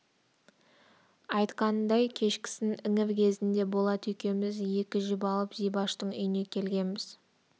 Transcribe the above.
айтқанындай кешкісін іңір кезінде болат екеуміз екі жіп алып зибаштың үйіне келгенбіз